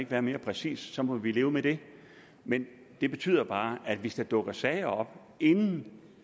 være mere præcis så må vi leve med det men det betyder bare at hvis der dukker sager op inden